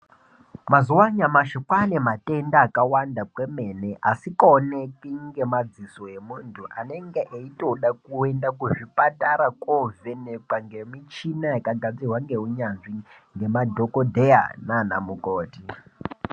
Mazuva anyamashi kwane matenda akawanda kwemene asingaoneki nemadziso emuntu anenge eitoda kuenda kuzvipatara kovhenekwa nemichina yakagadzirwa ngeunyanzvi nemadhokodheya nana mukoti.